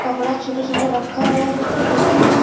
कपड़ा छोटे-छोटे रखल ह देखे में --